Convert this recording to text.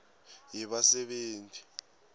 yebasebenti